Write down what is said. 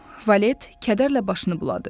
Valet kədərlə başını buladı.